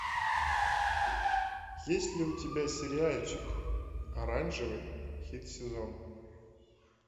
есть ли у тебя сериальчик оранжевый хит сезона